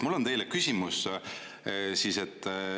Mul on teile küsimus.